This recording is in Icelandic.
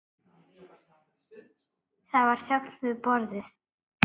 Það var þögn við borðið.